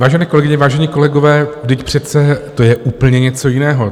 Vážené kolegyně, vážení kolegové, vždyť přece to je úplně něco jiného.